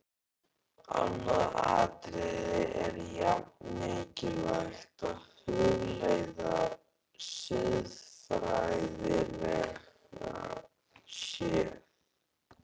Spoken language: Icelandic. Annað atriði er jafn mikilvægt að hugleiða, siðfræðilega séð.